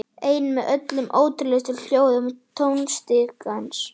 Ein með öllum ótrúlegustu hljóðum tónstigans.